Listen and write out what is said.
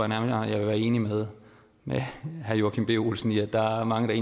nærmere jeg vil være enig med herre joachim b olsen i at der er mange der